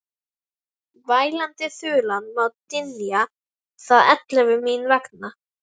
Vælandi þulan má dynja að eilífu mín vegna.